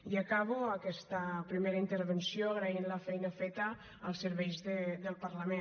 i acabo aquesta primera intervenció agraint la feina feta als serveis del parlament